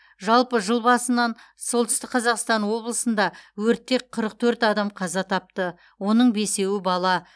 жалпы жыл басынан солтүстік қазақстан облысында өртте қырық төрт адам қаза тапты оның бесеуі бала